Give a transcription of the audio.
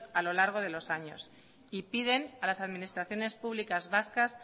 a lo largo de los años y piden a las administraciones públicas vascas